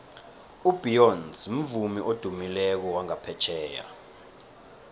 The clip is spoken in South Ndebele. ubeyonce mvumi odumileko wangaphetjheya